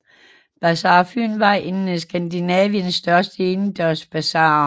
Bazar Fyn var en af Skandinaviens største indendørs basarer